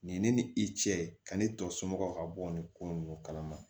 Nin ne ni i cɛ ani tɔ somɔgɔw ka bɔ nin ko ninnu kalama